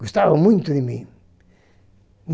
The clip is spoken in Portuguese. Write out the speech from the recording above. Gostava muito de mim.